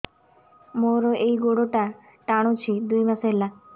ମୋର ଏଇ ଗୋଡ଼ଟା ଟାଣୁଛି ଦୁଇ ମାସ ହେଲା